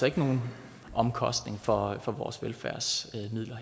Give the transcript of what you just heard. ikke nogen omkostninger for for vores velfærdsmidler